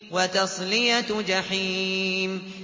وَتَصْلِيَةُ جَحِيمٍ